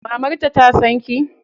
Mamarta ta san ki?